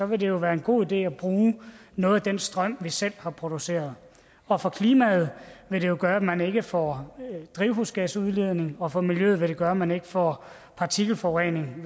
vil det jo være en god idé at bruge noget af den strøm vi selv har produceret og for klimaet vil det gøre at man ikke får drivhusgasudledning og for miljøet vil det gøre at man ikke får partikelforurening